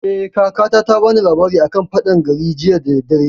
Eh, kakata ta bani labari a kan faɗan gari jiya da daddare